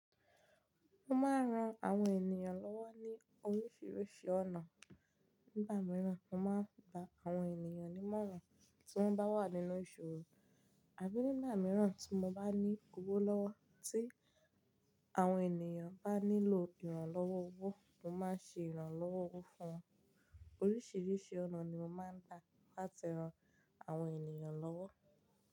Mo máa ń ran àwọn ènìyàn lọ́wọ́ ní oríṣiríṣi ọ̀nà. Nígbà mìíràn, mo máa ń bá àwọn ènìyàn nímọ̀ràn tí wọ́n bá wà nínú ìṣòro. Àbí nígbà mìíràn tí mo bá ní owo lọ́wọ́ tí àwọn ènìyàn bá nílò ìrànlọ́wọ́ owó, mo máa ń ṣe ìrànlọ́wọ́ owó fún wọn. Oríṣiríṣi ọ̀nà ni mo máa ń gba láti ran àwọn ènìyàn lọ́wọ́.